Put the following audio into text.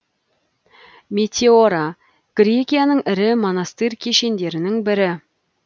метеора грекияның ірі монастыр кешендерінің бірі